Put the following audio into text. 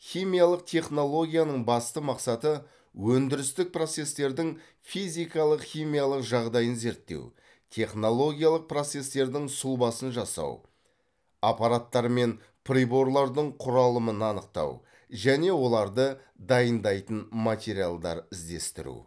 химиялық технологияның басты мақсаты өндірістік процестердің физикалық химиялық жағдайын зерттеу технологиялық процестердің сұлбасын жасау аппараттар мен приборлардың құралымын анықтау және оларды дайындайтын материалдар іздестіру